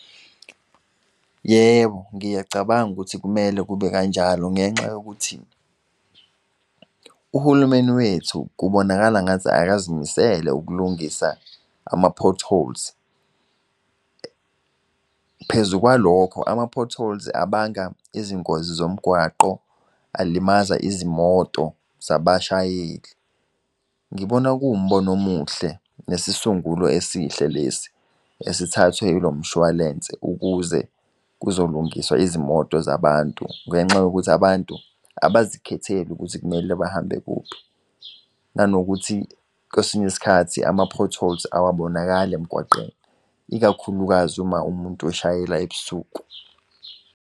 Yebo, ngiyacabanga ukuthi kumele kube kanjalo, ngenxa yokuthi uhulumeni wethu kubonakala ngathi akazimisele ukulungisa ama-potholes. Phezu kwalokho ama-potholes abanga izingozi zomgwaqo, alimaza izimoto zabashayeli. Ngibona kuwumbono umuhle, nesisungulo esihle lesi esithathwe ilo mshwalense ukuze kuzolungiswa izimoto zabantu. Ngenxa yokuthi abantu abazikhetheli ukuthi kumele bahambe kuphi, nanokuthi kwesinye isikhathi ama-potholes awabonakali emgwaqeni ikakhulukazi uma umuntu oshayela eb'suku.